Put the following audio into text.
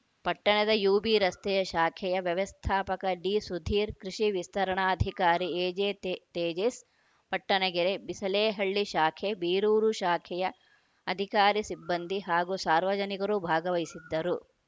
ಪಟ್ಟಣದ ಯುಬಿ ರಸ್ತೆಯ ಶಾಖೆಯ ವ್ಯಸ್ಥಾಪಕ ಡಿಸುಧೀರ್‌ ಕೃಷಿ ವಿಸ್ತರಣಾಧಿಕಾರಿ ಎಜೆತೆ ತೇಜೇಶ್‌ ಪಟ್ಟಣಗೆರೆ ಬಿಸಲೇಹಳ್ಳಿ ಶಾಖೆ ಬೀರೂರು ಶಾಖೆಯ ಅಧಿಕಾರಿ ಸಿಬ್ಬಂದಿ ಹಾಗು ಸಾರ್ವಜನಿಕರು ಭಾಗವಹಿಸಿದ್ದರು